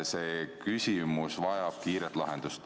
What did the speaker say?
See küsimus vajab kiiret lahendust.